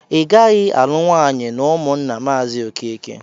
Igaghi alụ nwanyi n'ụmụnna mazi okeke!